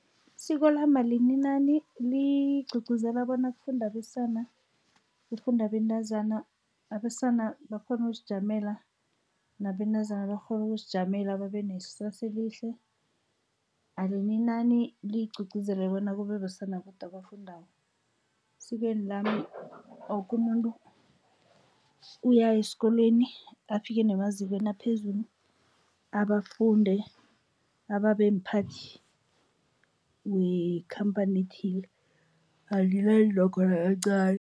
Isiko lami alininani, ligqugquzela bona kufunde abesana, kufunde abentazana. Abesana bakghone ukuzijamela, nabentazana bakghone ukuzijamela, babe nekusasa elihle. Alininani ligqugquzele bona kube besana bodwa abafundako. Esikweni lami, woke umuntu uyaya esikolweni, afike nemazikweni aphezulu, abe afunde, abe mphathi wekhampani ethile. Alininani nokho nakancani.